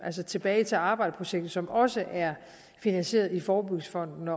altså tilbage til arbejdet projektet som også er finansieret i forebyggelsesfonden